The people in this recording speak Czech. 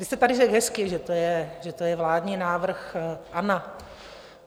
Vy jste tady řekl hezky, že to je vládní návrh ANO.